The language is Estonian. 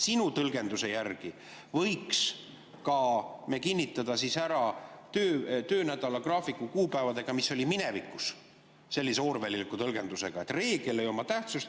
Sinu tõlgenduse järgi võiks me kinnitada siis ka töönädala graafiku kuupäevadega, mis olid minevikus, sellise orwelliliku tõlgendusega, et reegel ei oma tähtsust.